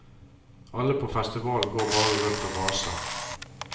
Alle på festivalen går bare rundt og vaser.